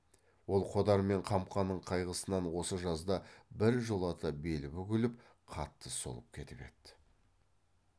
ол қодар мен қамқаның қайғысынан осы жазда біржолата белі бүгіліп қатты солып кетіп еді